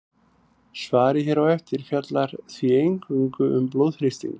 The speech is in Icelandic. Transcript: Svarið hér á eftir fjallar því eingöngu um blóðþrýsting.